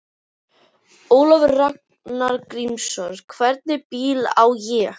Ólafur Ragnar Grímsson: Hvernig bíl á ég?